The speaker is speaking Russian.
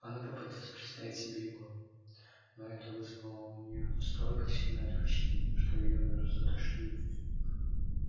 она попыталась представить себе его но это вызвало у неё настолько сильное отвращение что её даже затошнило